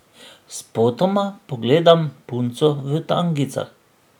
Spotoma pogledam punco v tangicah.